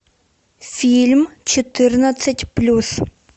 фильм четырнадцать плюс